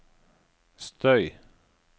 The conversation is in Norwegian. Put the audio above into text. støy